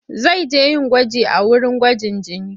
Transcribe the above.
Zai je yin gwaji a wurin gwajin jini.